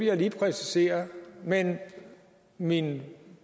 jeg lige præcisere men min